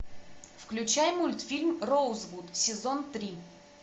включай мультфильм роузвуд сезон три